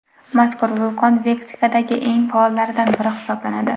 Mazkur vulqon Meksikadagi eng faollaridan biri hisoblanadi.